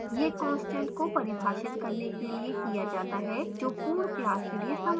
यह constant को परिभाषित करने के लिए किया जाता है जो पूर्ण class के लिए समान है